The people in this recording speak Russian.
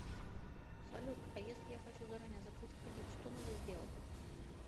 салют а если я хочу заранее закрыть кредит что надо сделать